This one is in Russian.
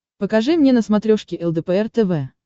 покажи мне на смотрешке лдпр тв